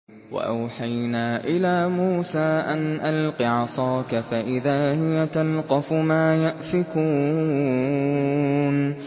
۞ وَأَوْحَيْنَا إِلَىٰ مُوسَىٰ أَنْ أَلْقِ عَصَاكَ ۖ فَإِذَا هِيَ تَلْقَفُ مَا يَأْفِكُونَ